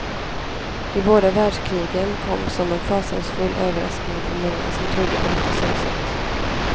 De båda världskrigen kom som en fasansfull överraskning för många som trodde på detta synsätt.